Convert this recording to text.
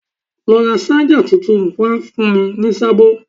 Lọ ra ṣájà tuntun wá fún mi ní sábó